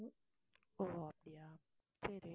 ஓ அப்டியா சரி